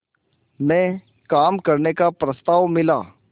में काम करने का प्रस्ताव मिला